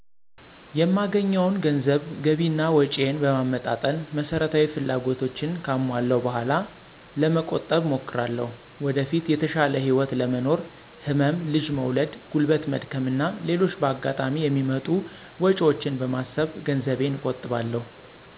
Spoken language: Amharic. የማገኘውን ገንዘብ ገቢ እና ወጭየን በማመጣጠን መሰረታዊ ፍላጎቶቸን ካሟለው በኋላ ለመቆጠብ እሞክራለሁ። ወደፊት የተሻለ ህይወት ለመኖር፣ ህመም፣ ልጅ መውለድ፣ ጉልበት መድከም እና ሌሎችም በአጋጣሚ የሚመጡ ወጭወችን በማሰብ ገንዘቤን እቆጥባለሁ።